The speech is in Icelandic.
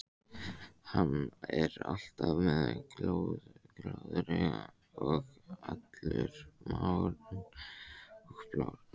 Hann er alltaf með glóðarauga og allur marinn og blár.